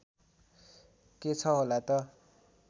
के छ होला त